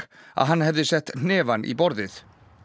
að hann hefði sett hnefann í borðið